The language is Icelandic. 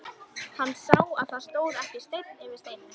Hann sá að það stóð ekki steinn yfir steini.